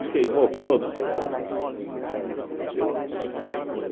e queimou todos os pés de café. Eu